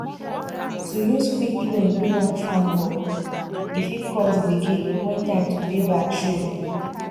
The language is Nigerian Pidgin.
to use quick loan do long farm work e fit cause gbege when time to pay back show